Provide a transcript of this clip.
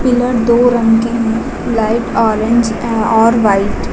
pillar दो रंग के है लाइट ऑरेंज ए और व्हाइट --